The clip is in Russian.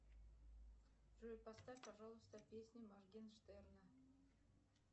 джой поставь пожалуйста песни моргенштерна